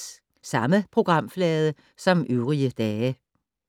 Samme programflade som øvrige dage